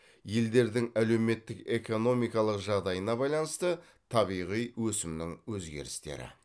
елдердің әлеуметтік экономикалық жағдайына байланысты табиғи өсімнің өзгерістері